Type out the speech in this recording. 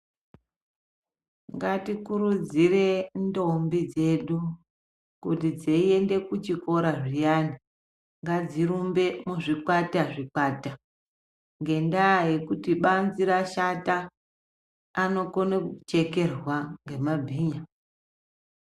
Ngatikurudzirei ndombi dzedu kuti dzeiende kuchikora zviyani ngadzirumbe muzvikwata zvikwata, ngenyaya yekuti banzi rashata anokone kuchekerwa ngemabhinya.